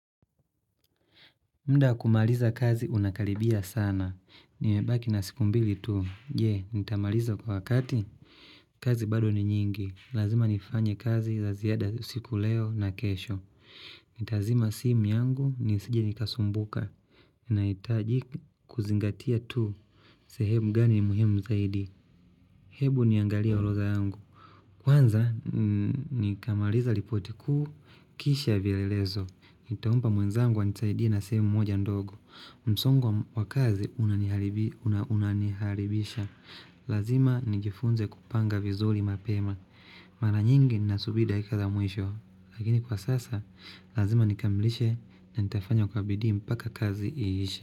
Muda wa kumaliza kazi unakaribia sana. Nimebaki na siku mbili tu. Je, nitamaliza kwa wakati? Kazi bado ni nyingi. Lazima nifanye kazi za ziada usiku leo na kesho. Nitazima simu yangu nisije nikasumbuka. Nahitaji kuzingatia tu. Sehemu gani muhimu zaidi. Hebu niangalie orodha yangu. Kwanza, nikamaliza ripoti kuu, kisha vielelezo. Nitampa mwenzangu anisaidie na sehemu moja ndogo. Msongo wa kazi unaniharibisha. Lazima nijifunze kupanga vizuri mapema. Mara nyingi ninasubiri dakika za mwisho. Lakini kwa sasa, lazima nikamilishe na nitafanya kwa bidii mpaka kazi iishe.